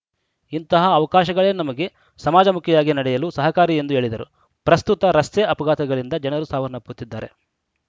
ಇಂತಹ ಅವಕಾಶಗಳೇ ನಮಗೆ ಸಮಾಜಮುಖಿಯಾಗಿ ನಡೆಯಲು ಸಹಕಾರಿ ಎಂದು ಹೇಳಿದರು ಪ್ರಸ್ತುತ ರಸ್ತೆ ಅಪಘಾತಗಳಿಂದ ಜನರು ಸಾವನ್ನಪ್ಪುತ್ತಿದ್ದಾರೆ